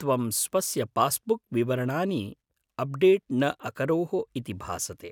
त्वं स्वस्य पास्बुक् विवरणानि अप्डेट् न अकरोः इति भासते।